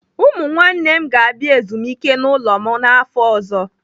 Ụmụ nwanne m ga-abịa ezumike n'ụlọ m n'afọ ọzọ.